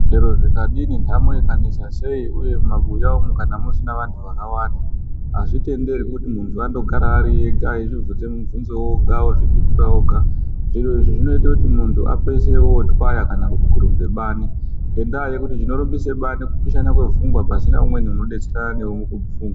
Chero zvikanesa sei nhamo ikanesa zvakadii uye mumabuya umu kana musina antu akawanda azvitenderwi kuti muntu angogara ariega achizvivhunza muvhunzo oga ozvipindure oga zviro izvi zvinoita kuti muntu apedzisire otwaya kana kurumba bani ngenda yekuti chinorumbisa bani kupishana kwepfungwa pasina umweni unodetserana newe mukufunga.